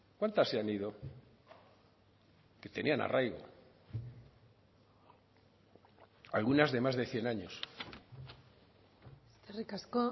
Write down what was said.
cuántas se han ido que tenían arraigo algunas de más de cien años eskerrik asko